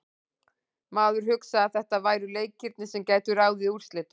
Maður hugsaði að þetta væru leikirnir sem gætu ráðið úrslitum.